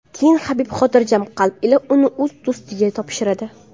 Keyin Habib xotirjam qalb ila uni o‘z do‘stiga topshiradi.